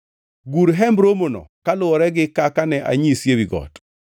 “Gur Hemb Romono kaluwore gi kaka ne anyisi ewi got.